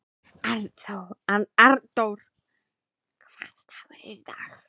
Arndór, hvaða dagur er í dag?